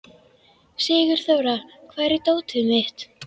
Sigurþóra, hvar er dótið mitt?